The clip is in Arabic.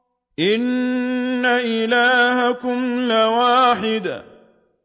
إِنَّ إِلَٰهَكُمْ لَوَاحِدٌ